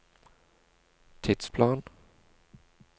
tidsplan